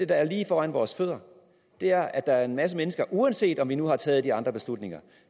der er lige foran vores fødder og det er at der er en masse mennesker uanset om vi nu har taget de andre beslutninger